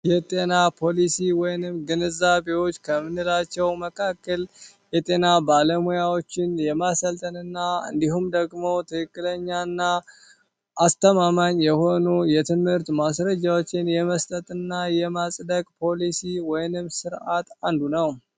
የጤና ፖሊሲ ወይንም ግንዛቤዎች ከምንላቸው መካከል የጤና ባለሙያዎችን የማሰልጠንና እንዲሁም ደግሞው ትክክለኛ እና አስተማማኝ የሆኑ የትምህርት ማስረጃዎችን የመስጠትና የማጽደቅ ፖሊሲ ወይንም ስርዓት አንዱ ነው።